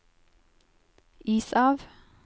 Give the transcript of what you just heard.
is av